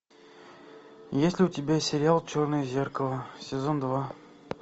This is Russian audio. есть ли у тебя сериал черное зеркало сезон два